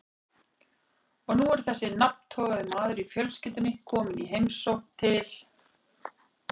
Og nú er þessi nafntogaði maður í fjölskyldunni kominn í heimsókn til